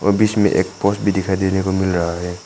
और बीच में एक बस भी दिखाई देने को मिल रहा है।